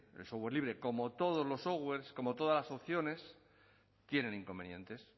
el software libre como todos los software como todas las opciones tienen inconvenientes